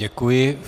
Děkuji.